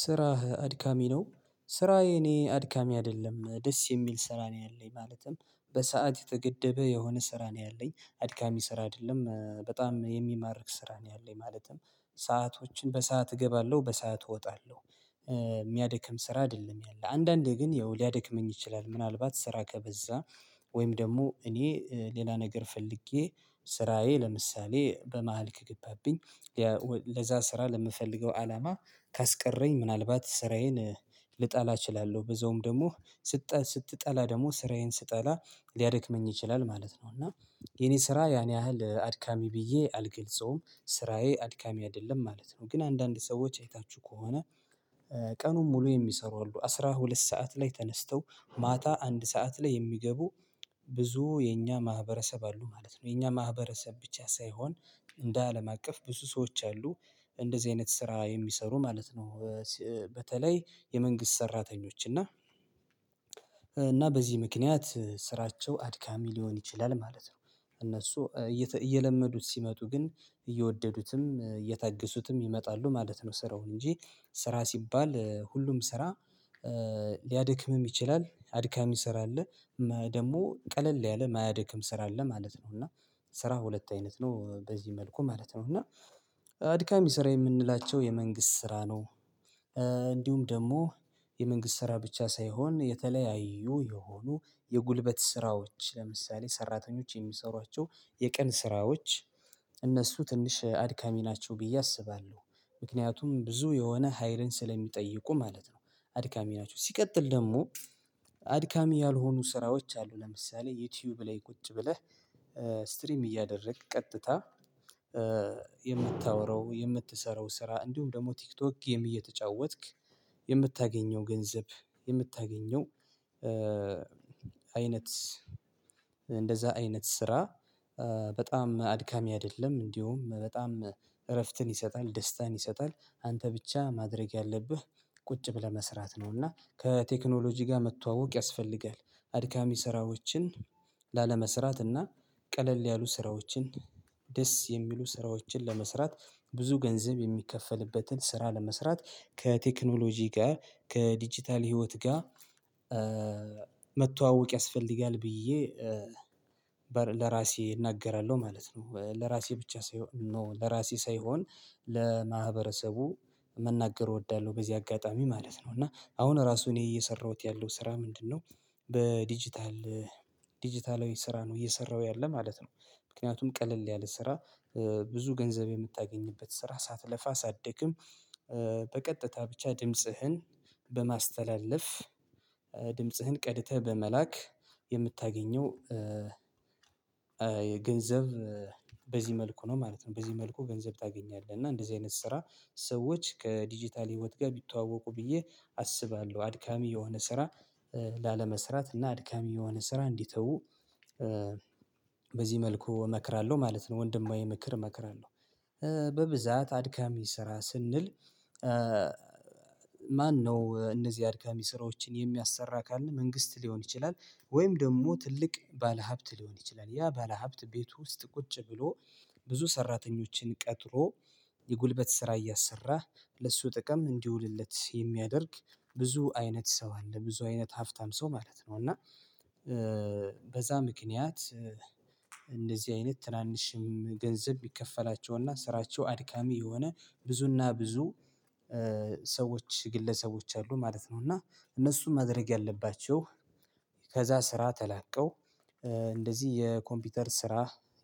ስራህ አድካሚ ነው ስራ የኔ አድካሚ አይደለም ደስ የሚል ስራ ነው ያለኝ ማለትም በሰአት የተገደበ የሆነ ስራ ነው ያለኝ አድካሚ ስራ አይደለም በጣም የሚማርክ ስራ ነው ያለኝ ማለትም ሰአቶችን በሰአት እገባለሁ በሰአት እወጣለሁ። የሚያደክም ስራ አይደለም ያለ አንዳንዴ ግን ያው ሊያደክመኝ ይችላል። ምናልባት ስራ ከበዛ ወይም ደግሞ እኔ ሌላ ነገር ፈልጌ ስራዬ ለምሳሌ በመሃል ከገባብኝ ለዛ ስራ ለምፈልገው አላማ ካስቀረኝ ምናልባት ስራዬን ልጠላ እችላለሁ። በዛውም ደግሞ ስትጠላ ደግሞ ስራዬን ስጠላ ሊያደክመኝ ይችላል ማለት ነው። እና የኔ ስራ ያን ያህል አድካሚ ብዬ አልገልጸውም ስራዬ አድካሚ አይደለም ማለት ነው። ግን አንዳንድ ሰዎች አይታችሁ ከሆነ ቀኑን ሙሉ የሚሰሩ አሉ አስራ ሁለት ሰዓት ላይ ተነስተው ማታ አንድ ሰዓት ላይ የሚገቡ ብዙ የኛ ማህበረሰብ አሉ ማለት ነው። የኛ ማህበረሰብ ብቻ ሳይሆን እንደ አለም አቀፍ ብዙ ሰዎች አሉ እንደዚህ አይነት ስራ የሚሰሩ ማለት ነው። በተለይ የመንግስት ሰራተኞች እና እና በዚህ ምክንያት ስራቸው አድካሚ ሊሆን ይችላል ማለት ነው። እነሱ እየለመዱት ሲመጡ ግን እየወደዱትም እየታገሱትም ይመጣሉ ማለት ነው። ስራውን እንጂ ስራ ሲባል ሁሉም ስራ ሊያድክምም ይችላል አድካሚ ስራ አለ ደግሞ ቀለል ያለ የማያድክም ስራ አለ ማለት ነው። እና ስራ ሁለት አይነት ነው በዚህ መልኩ ማለት ነው። እና አድካሚ ስራ የምንላቸው የመንግስት ስራ ነው። ደግሞ የመንግስት ስራ ብቻ ሳይሆን የተለያዩ የሆኑ የጉልበት ስራዎች ለምሳሌ ሰራተኞች የሚሰሯቸው የቀን ስራዎች እነሱ ትንሽ አድካሚ ናቸው ብዬ አስባለሁ። ምክንያቱም ብዙ የሆነ ሀይልን ስለሚጠይቁ ማለት ነው። አድካሚ ናቸው ሲቀጥል ደግሞ አድካሚ ያልሆኑ ስራዎች አሉ ለምሳሌ ዩቲዩብ ላይ ቁጭ ብለህ። ስትሪም እያደረግክ ቀጥታ የምታወራው የምትሰራው ስራ እንዲሁም ደግሞ ቲክቶክ ጌም እየተጫወትክ የምታገኘው ገንዘብ የምታገኘው አይነት አይነት ስራ በጣም አድካሚ አይደለም እንዲሁም በጣም እረፍትን ይሰጣል ደስታን ይሰጣል። አንተ ብቻ ማድረግ ያለብህ ቁጭ ብለህ መስራት ነውና ከቴክኖሎጂ ጋር መተዋወቅ ያስፈልጋል። አድካሚ ስራዎችን ላለመስራት እና ቀለል ያሉ ስራዎችን ደስ የሚሉ ስራዎችን ለመስራት ብዙ ገንዘብ የሚከፈልበትን ስራ ለመስራት ከቴክኖሎጂ ጋር ከዲጂታል ህይወት ጋር መተዋወቅ ያስፈልጋል ብዬ ለራሴ እናገራለሁ ማለት ነው። ለራሴ ብቻ ሳይሆን ኖ ለራሴ ሳይሆን ለማህበረሰቡ መናገር እወዳለሁ። በዚህ አጋጣሚ ማለት ነው እና አሁን ራሱን እኔ እየሰራሁት ያለው ስራ ምንድነው? በዲጂታል ዲጂታላዊ ስራ ነው እየሰራሁ ያለ ማለት ነው። ምክንያቱም ቀለል ያለ ስራ ብዙ ገንዘብ የምታገኝበት ስራ ሳትለፋ አትደክም። በቀጥታ ብቻ ድምጽህን በማስተላለፍ ድምጽህን ቀድተህ በመላክ የምታገኘው የገንዘብ በዚህ መልኩ ነው ማለት ነው። በዚህ መልኩ ገንዘብ ታገኛለህ እና እንደዚህ አይነት ስራ ሰዎች ከዲጂታል ህይወት ጋር ቢተዋወቁ ብዬ አስባለሁ። አድካሚ የሆነ ስራ ላለመስራት እና አድካሚ የሆነ ስራ እንዲተው በዚህ መልኩ እመክራለሁ ማለት ነው። ወንድማዊ ምክር እመክራለሁ። በብዛት አድካሚ ስራ ስንል ማነው እነዚህ አድጋሚ ስራዎችን የሚያሰራ ካልን መንግስት ሊሆን ይችላል። ወይም ደግሞ ትልቅ ባለሀብት ሊሆን ይችላል ያ ባለሀብት ቤት ውስጥ ቁጭ ብሎ ብዙ ሰራተኞችን ቀጥሮ የጉልበት ስራ እያሰራህ ለሱ ጥቅም እንዲውልለት የሚያደርግ ብዙ አይነት ሰው አለ ብዙ አይነት ሀፍታም ሰው ማለት ነው። እና በዛ ምክንያት እንደዚህ አይነት ትናንሽም ገንዘብ ቢከፈላቸውና ስራቸው አድካሚ የሆነ ብዙና ብዙ ሰዎች ግለሰቦች አሉ ማለት ነው። እና እነሱም መድረግ ያለባቸው ከዛ ስራ ተላቀው የኮምፒውተር ስራ